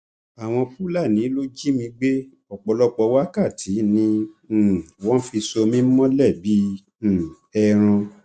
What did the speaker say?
àwọn fúlàní ló jí mi gbé ọpọlọpọ wákàtí ni um wọn fi so mí mọlẹ bíi um ẹran